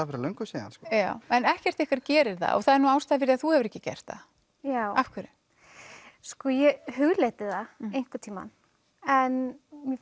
fyrir löngu síðan en ekkert ykkar gerir það og það er nú ástæða fyrir því að þú hefur ekki gert það af hverju ég hugleiddi það einhvern tímann en